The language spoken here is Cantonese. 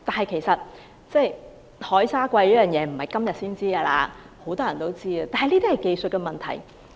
其實海沙貴已不是今時今日的事，很多人都知道，但這是技術問題。